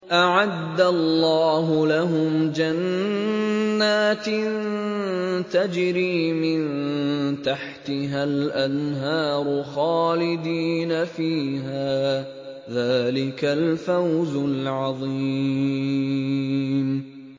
أَعَدَّ اللَّهُ لَهُمْ جَنَّاتٍ تَجْرِي مِن تَحْتِهَا الْأَنْهَارُ خَالِدِينَ فِيهَا ۚ ذَٰلِكَ الْفَوْزُ الْعَظِيمُ